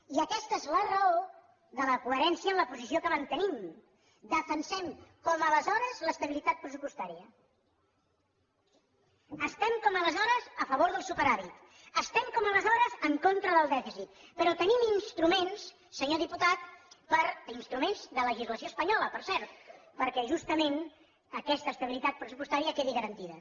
i aquesta és la raó de la coherència en la posició que mantenim defensem com aleshores l’estabilitat pressupostària estem com aleshores a favor del superàvit estem com aleshores en contra del dèficit però tenim instruments senyor diputat instruments de legislació espanyola per cert perquè justament aquesta estabilitat pressupostària quedi garantida